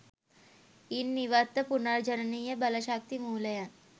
ඉන් ඉවත්ව පුනර්ජනනීය බල ශක්ති මූලයන්